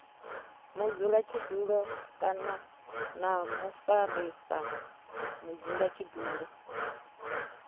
mudzulatshidulo kana na mufarisa mudzulatshidulo